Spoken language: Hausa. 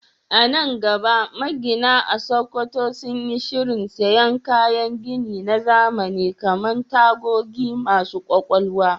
A nan gaba, magina a Sakkwato sun yi shirin siyan kayan gini na zamani kamar tagogi masu kwakwalwa